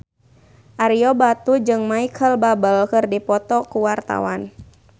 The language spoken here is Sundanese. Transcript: Ario Batu jeung Micheal Bubble keur dipoto ku wartawan